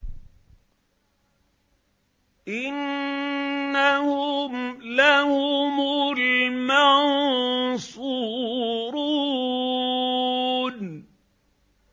إِنَّهُمْ لَهُمُ الْمَنصُورُونَ